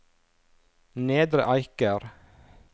Nedre Eiker